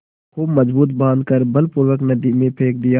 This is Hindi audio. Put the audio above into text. खूब मजबूत बॉँध कर बलपूर्वक नदी में फेंक दिया